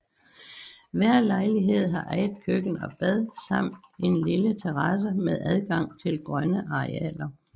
Hver lejlighed har eget køkken og bad samt en lille terrasse med adgang til grønne arealer